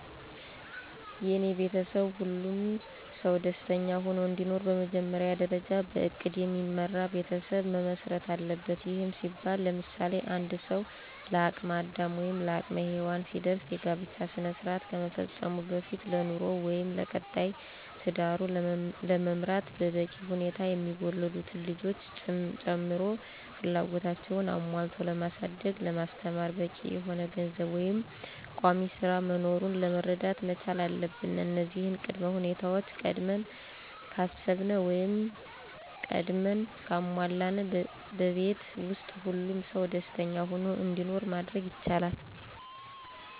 የኔ ቤተሰብ ሁሉም ሰው ደስተኛ ሆኖ እንዲኖር በመጀመሪያ ደርጃ በእቅድ የሚመራ ቤተሰብ መመስረት አለበት። ይህም ሲባል ለምሳሌ፦ አንድ ሰው ለአቅም አዳም ወይም ለአቅመ ሄዎን ሲደርስ የጋብቻ ስነስራአት ከመፈፀሙ በፊት ለኑሮው ወይም ለቀጣይ ትዳሩን ለመምራት በበቂ ሁኔታ የሚወለዱትንም ልጆች ጨምሮ ፍላጎታቸውን አሞልቶ ለማሳደግ ለማስተማር በቂ የሆነ ገንዘብ ወይም ቋሚስራ መኖሩን መረዳት መቻል አለብን እነዚህን ቅድመ ሁኔታወች ቀድመን ካሰብን ወይም ቀድመን ካሟላን በቤት ውስጥ ሁሉም ሰው ደስኛ ሁኖ እንዲኖር ማድረግ ይቻላል።